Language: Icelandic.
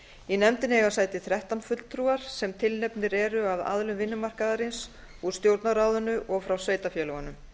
í nefndinni eiga sæti þrettán fulltrúar sem tilnefndir eru af aðilum vinnumarkaðarins úr stjórnarráðinu og frá sveitarfélögunum